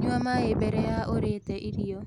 Nyua maĩ mbere ya urite irio